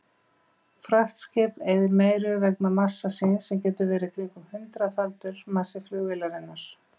Fraktskip eyðir meiru vegna massa síns sem getur verið kringum hundraðfaldur massi flugvélarinnar.